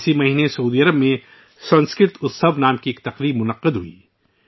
اس ماہ سعودی عرب میں ' سنسکرت اتسو ' کے نام سے ایک تقریب منعقد ہوئی